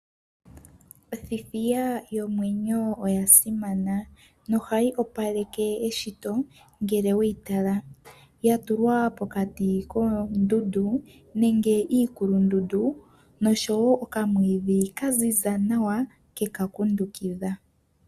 Othithiya yomwenyo oya simana. Nohayi opaleke eshito ngele weyitala yatulwa pokati koondundu nenge iikulundundu nosho wo okamwiidhi kaziza nawa keyi kundukidha.